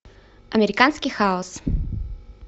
американский хаос